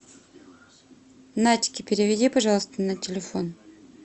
надьке переведи пожалуйста на телефон